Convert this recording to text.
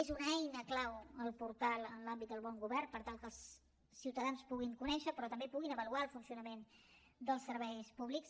és una eina clau el portal en l’àmbit del bon govern per tal que els ciutadans puguin conèixer però també puguin avaluar el funcionament dels serveis públics